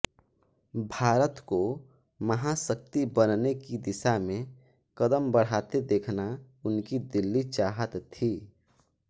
भारत को महाशक्ति बनने की दिशा में कदम बढाते देखना उनकी दिली चाहत थी